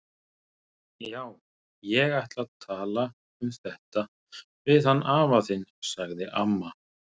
Já, ég ætla að tala um þetta við hann afa þinn sagði amma.